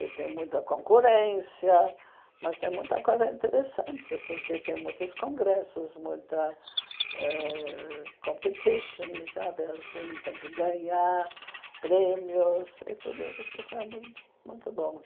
e tem muita concorrência, mas tem muita coisa interessante, porque tem muitos congressos, muita ãh competition sabe assim, tem que ganhar prêmios, e tudo isso foi foi muito bom.